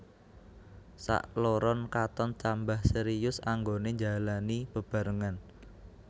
Sakloron katon tambah serius anggoné njalani bebarengan